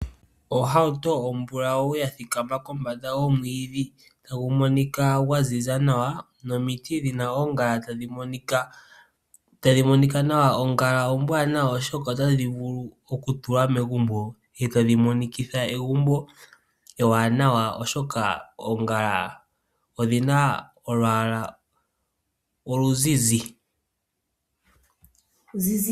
Ohauto ombulawu yathika kombanda yomwiidhi tagu monika gwaziza nawa nomiti dhina oongala tadhi monika nawa. Oongala ombwaanawa oshoka otayi vulu okutulwa megumbo ndele tadhi monikitha egumbo ewanawa, oshoka oongala odhina olwaala oluzizi.